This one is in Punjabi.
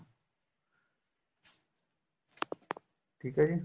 ਠੀਕ ਹੈ ਜੀ